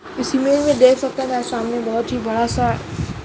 इस इमेज मे देख सकते है हमारे सामने बोहोत ही बड़ा सा --